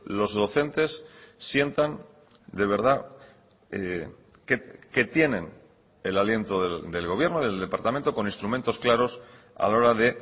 los docentes sientan de verdad que tienen el aliento del gobierno del departamento con instrumentos claros a la hora de